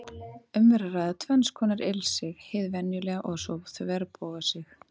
Um er að ræða tvenns konar ilsig, hið venjulega og svo þverbogasig.